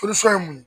ye mun ye